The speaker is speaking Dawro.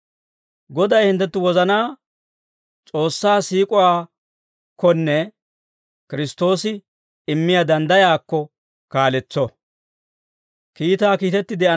Goday hinttenttu wozanaa S'oossaa siik'uwaakkonne Kiristtoosi immiyaa danddayaakko kaaletso.